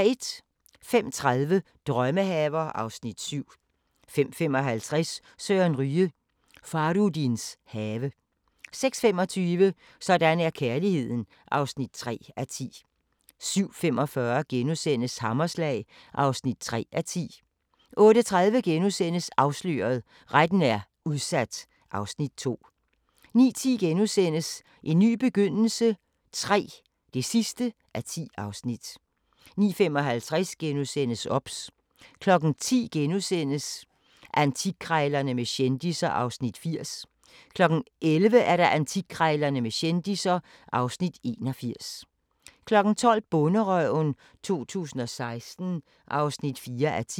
05:30: Drømmehaver (Afs. 7) 05:55: Søren Ryge: Fahrudins have 06:25: Sådan er kærligheden (3:10) 07:45: Hammerslag (3:10)* 08:30: Afsløret – Retten er udsat (Afs. 2)* 09:10: En ny begyndelse III (10:10)* 09:55: OBS * 10:00: Antikkrejlerne med kendisser (Afs. 80) 11:00: Antikkrejlerne med kendisser (Afs. 81) 12:00: Bonderøven 2016 (4:10)